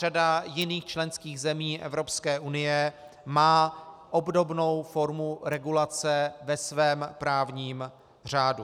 Řada jiných členských zemí EU má obdobnou formu regulace ve svém právním řádu.